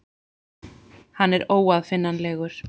Hann er óaðfinnanlegur.